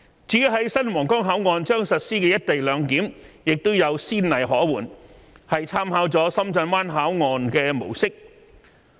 至於在新皇崗口岸將實施的"一地兩檢"也有先例可援，是參考了深圳灣口岸的模式。